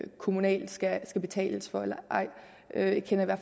kommunalt skal betales for eller ej jeg kender